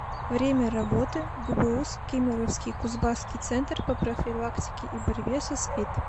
время работы гбуз кемеровский кузбасский центр по профилактике и борьбе со спид